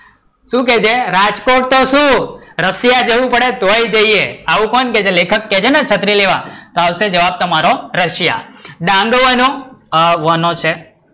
શું કે છે? રાજકોટ તો શું રશિયા જવું પડે ને તોય જઈએ, આવું કોણ કે છે લેખક કે છે ને છત્રી લેવા, આ હશે જવાબ તમારો રશિયા. દાંડો બનયો વનો છે